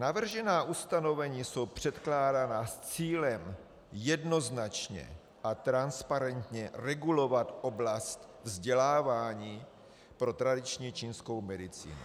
Navržená ustanovení jsou předkládaná s cílem jednoznačně a transparentně regulovat oblast vzdělávání pro tradiční čínskou medicínu.